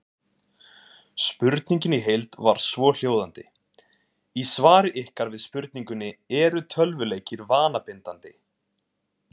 Spurningin í heild var svohljóðandi: Í svari ykkar við spurningunni Eru tölvuleikir vanabindandi?